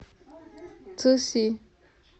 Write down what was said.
цыси